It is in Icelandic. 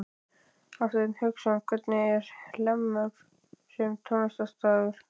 Hafsteinn Hauksson: Hvernig er Hlemmur sem tónleikastaður?